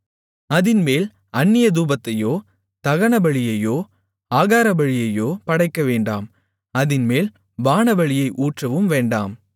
அதின்மேல் அந்நிய தூபத்தையோ தகனபலியையோ ஆகாரபலியையோ படைக்கவேண்டாம் அதின்மேல் பானபலியை ஊற்றவும் வேண்டாம்